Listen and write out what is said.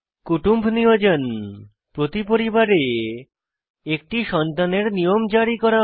কুটুম্ব নিয়োজন প্রতি পরিবারে একটি সন্তানের নিয়ম জারি করা হয়